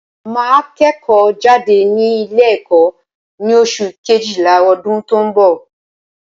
Màá kẹ́ẹ̀kọ́ jáde ní Ilé ẹ̀kó ní oṣù kejìlá ọdún tó n bọ̀